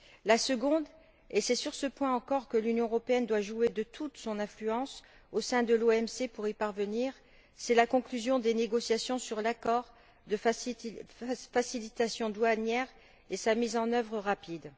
La seconde, et c'est sur ce point encore que l'Union européenne doit jouer de toute son influence au sein de l'OMC pour y parvenir, c'est la conclusion des négociations sur l'accord de facilitation douanière et sa mise en œuvre rapide.